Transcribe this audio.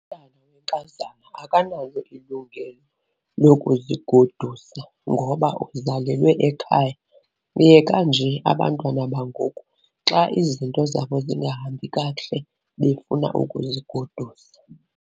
Umntwana wenkazana akanalo ilungelo lokuzigodusa ngoba uzalelwe ekhaya. Yeka nje abantwana bangoku xa izinto zabo zingahambi kakuhle befuna ukuzigodusa.